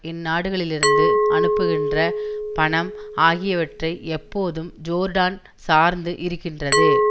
இந்நாடுகளிலிருந்து அனுப்புகின்ற பணம் ஆகியவற்றை எப்போதும் ஜோர்டான் சார்ந்து இருக்கின்றது